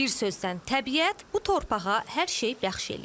Bir sözlə, təbiət bu torpağa hər şeyi bəxş eləyib.